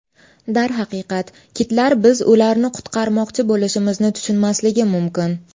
Darhaqiqat, kitlar biz ularni qutqarmoqchi bo‘lishimizni tushunmasligi mumkin.